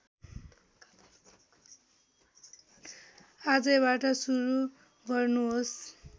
आजैबाट सुरु गर्नुहोस्